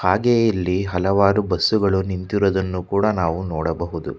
ಹಾಗೆಯೇ ಇಲ್ಲಿ ಹಲವಾರು ಬಸ್ಸುಗಳು ನಿಂತಿರುವುದನ್ನು ಕೂಡ ನಾವು ನೋಡಬಹುದು.